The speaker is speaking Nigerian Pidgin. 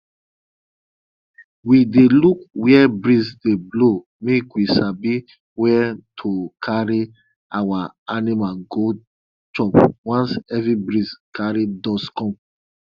we dey look wia breeze dey blow make we sabi wen to carry our animal go chop once heavy breeze carry dust come